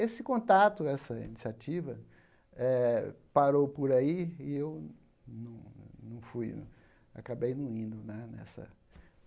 Esse contato, essa iniciativa eh, parou por aí e eu não fui acabei não indo né nessa.